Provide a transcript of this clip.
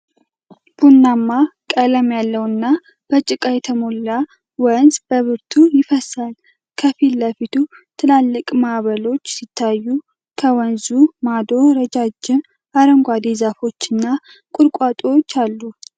ቡናማማ ቀለም ያለውና በጭቃ የተሞላ ወንዝ በብርቱ ይፈሳል። ከፊት ለፊቱ ትላልቅ ማዕበሎች ሲታዩ፣ ከወንዙ ማዶ ረዣዥም አረንጓዴ ዛፎች እና ቁጥቋጦዎች አሉ።